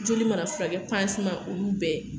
Joli mara furakɛ panseman olu bɛɛ.